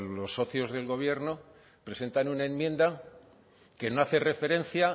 los socios del gobierno presentan una enmienda que no hace referencia